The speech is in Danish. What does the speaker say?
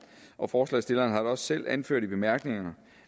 og forslagsstillerne har da også selv anført i bemærkningerne